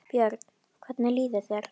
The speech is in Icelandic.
Björn: Hvernig líður þér?